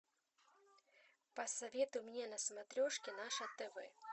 посоветуй мне на смотрешке наше тв